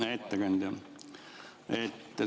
Hea ettekandja!